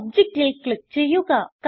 ഒബ്ജക്റ്റിൽ click ചെയ്യുക